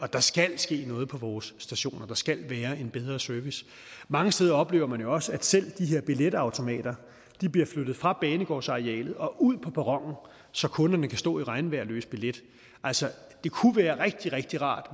der skal ske noget på vores stationer der skal være en bedre service mange steder oplever man jo også at selv de her billetautomater bliver flyttet fra banegårdsarealet og ud på perronen så kunderne kan stå i regnvejr og løse billet altså det kunne være rigtig rigtig rart